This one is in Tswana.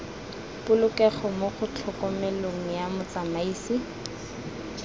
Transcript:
polokego mo tlhokomelong ya motsamaisi